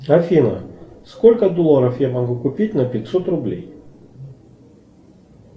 афина сколько долларов я могу купить на пятьсот рублей